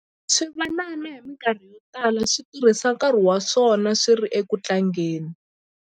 Swivanana hi mikarhi yo tala swi tirhisa nkarhi wa swona swi ri eku tlangeni.